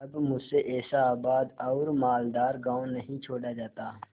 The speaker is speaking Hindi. अब मुझसे ऐसा आबाद और मालदार गॉँव नहीं छोड़ा जाता